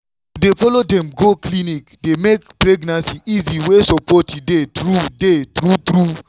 to dey follow dem go clinic dey make pregnancy easy where support dey true dey true true.